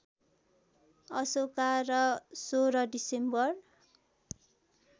अशोका र १६ डिसेम्बर